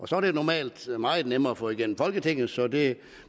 så er det normalt meget nemmere at få igennem folketinget så det